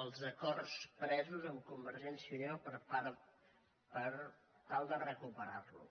als acords presos amb convergència i unió per tal de recuperar lo